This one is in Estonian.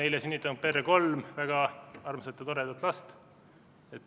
Sa oled sünnitanud meie perre kolm väga armsat ja toredat last.